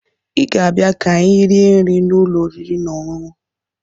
Ị ga-abịa ka anyị rie nri n'ụlọ oriri na ọṅụṅụ